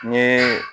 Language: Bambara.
N ye